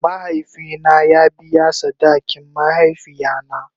Mahaifi na ya biya sadakin mahaifiya na.